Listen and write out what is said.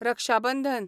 रक्षा बंधन